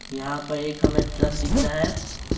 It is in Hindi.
यहाँ पर एक हमें ट्रक दिख रहा है।